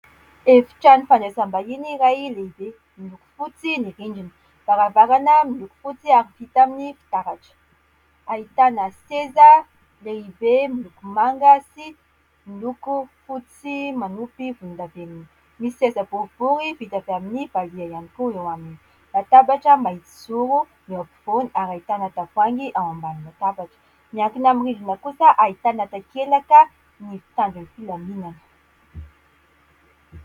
Efitrano fanasam-bahiny iray lehibe. Miloko fotsy ny rindrina. Varavarana miloko fotsy ary vita amin'ny fitaratra. Ahitàna seza lehibe miloko manga sy miloko fotsy manopy volondavenona. Misy seza boribory vita avy amin'ny valiha ihany koa eo aminy. Latabatra mahitsizoro ny ao afovoany ary ahitana tavoahangy ao ambany latabatra. Miankina amin'ny rindrina kosa ahitana takelaka ny mpitandro ny filaminana.